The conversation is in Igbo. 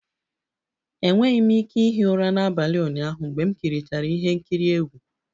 Enweghị m ike ihi ụra n'abalị ụnyaahụ mgbe m kirichara ihe nkiri egwu